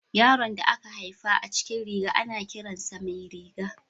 Yaron da aka haifa a cikin riga, ana kiran sa Mairiga.